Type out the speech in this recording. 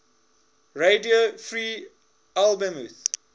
radio free albemuth